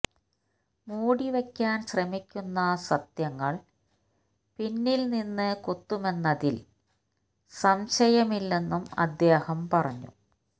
മൂടിവെക്കാന് ശ്രമിക്കുന്ന സത്യങ്ങള് പിന്നില് നിന്ന് കുത്തുമെന്നതില് സംശയമില്ലെന്നും അദ്ദേഹം പറഞ്ഞു